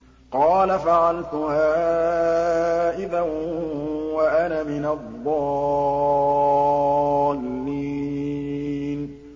قَالَ فَعَلْتُهَا إِذًا وَأَنَا مِنَ الضَّالِّينَ